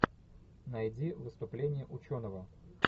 найди выступление ученого